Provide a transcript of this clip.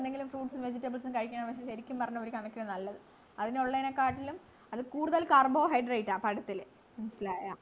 എന്തെങ്കിലും fruits ഉം vegetables ഉം കഴിക്കാൻ ശെരിക്കും പറഞ്ഞാൽ ഒരു കണക്കിന് നല്ലത് അതിനുള്ളേനകാട്ടിലും അത് കൂടുതൽ carbohydrate ആ പഴത്തില് മനസിലായാ